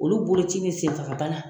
Olu boloci bɛ senfaga bana.